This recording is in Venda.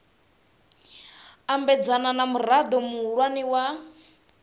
ambedzana na murao muhulwane wa